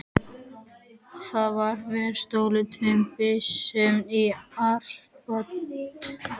Þar hafði verið stolið tveimur byssum og árabát.